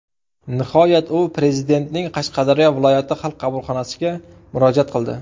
Nihoyat u Prezidentning Qashqadaryo viloyati Xalq qabulxonasiga murojaat qildi.